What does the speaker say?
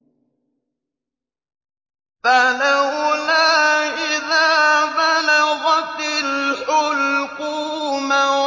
فَلَوْلَا إِذَا بَلَغَتِ الْحُلْقُومَ